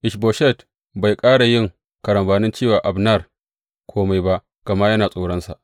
Ish Boshet bai ƙara yin karambanin ce wa Abner kome ba, gama yana tsoronsa.